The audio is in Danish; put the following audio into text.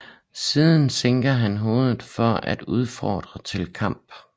Siden sænker han hovedet for at udfordre til kamp